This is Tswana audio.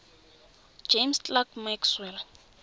james clerk maxwell